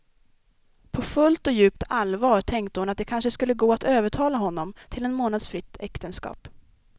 På fullt och djupt allvar tänkte hon att det kanske skulle gå att övertala honom till en månads fritt äktenskap.